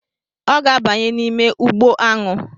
Ọ ga-abanye n'ime ugbo aṅụ